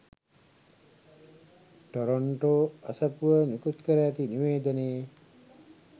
Toronto අසපුව නිකුත්කර ඇති නිවේදනයේ